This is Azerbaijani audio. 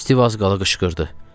Stiv az qala qışqırdı.